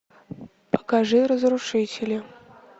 покажи разрушители